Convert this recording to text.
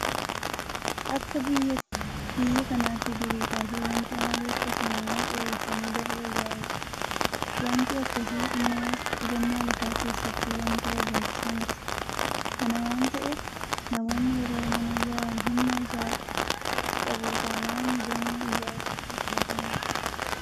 Akka biyya kanaatti durii kaasee waanti amaleeffatame mana dheereessanii dalga ijaaruudhaa. Waanti akkasii immoo qusannaa lafaa keessatti waanta barbaachisaa miti. Kana waanta ta'eef namoonni yeroo mana ijaaran humna isaa qabu taanaan gamoo ijaaruutu filatamaadha.